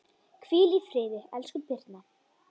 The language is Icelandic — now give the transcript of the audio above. Hvíl í friði, elsku Birna.